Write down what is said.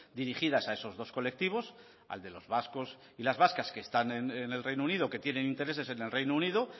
dirigidas a esos dos colectivos al de los vascos y las vascas que están en el reino unido que tienen intereses en el reino unido